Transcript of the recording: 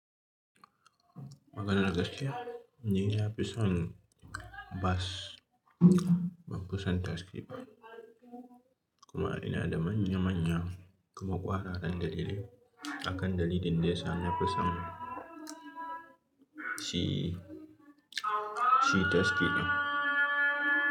Maganan gaskiya ni na fi son bas, ban fi son taksi ba. Kuma ina da manya manyan kuma kwararrun dalilai akan dalilin da ya sa na fi son shi, shi taksi ɗin.